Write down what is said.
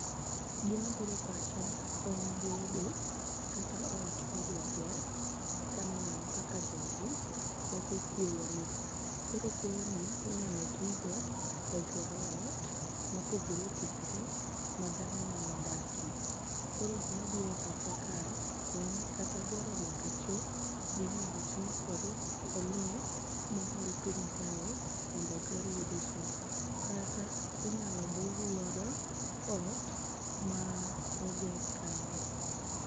gima bire pacha en gedo kata ot midwa ger kaneno kaka jogi choko kuoyo ni ,koro kuoyo ni inyalo tigo e gero ot mopogore opogore madhano nyalo dakie ,koro gima biro e pacha kae en gero nyaka cho minyalo ti kodo e lo mohol piny kae mondo oger godo cho kata inyalo bug godo ot moger kae ni.